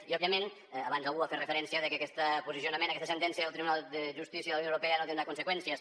i òbviament abans algú ha fet referència a que aquest posicionament aquesta sentència del tribunal de justícia de la unió europea no tindrà conseqüències